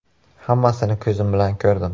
Hammasini ko‘zim bilan ko‘rdim.